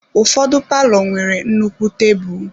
Ụfọdụ palọ nwere nnukwu tebụl.